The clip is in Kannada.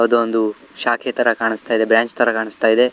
ಅದೊಂದು ಶಾಖೆ ತರಾ ಕಾಣಸ್ತಾ ಇದೆ ಬ್ರಾಂಚ್ ತರಾ ಕಾಣಸ್ತಾ ಇದೆ.